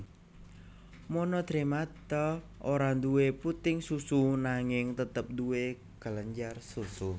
Monotremata ora duwé puting susu nanging tetep duwé kelenjar susu